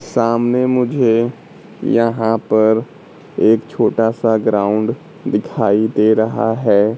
सामने मुझे यहां पर एक छोटा सा ग्राउंड दिखाई दे रहा है।